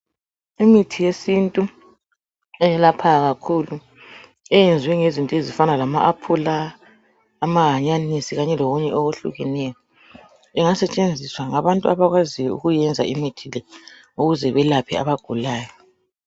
Imithi yesintu eyelaphayo kakhulu eyenziwe ngezinto ezifana lama aphula, amahanyanisi kanye lokunye okwehlukeneyo. Ingasetshenziswa ngabantu abakwaziyo ukuyenza imithi le ukuze belaphe abagulayo.